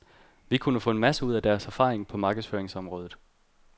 Vi vil kunne få en masse ud af deres erfaring på markedsføringsområdet.